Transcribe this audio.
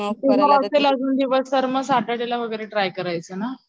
मग सॅटरडे ला वगैरे ट्राय करायचं ना